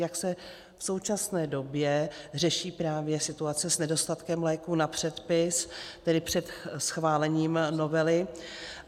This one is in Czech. Jak se v současné době řeší právě situace s nedostatkem léků na předpis, tedy před schválením novely?